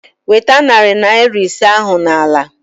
Nweta narị naira isii ahụ n'ala!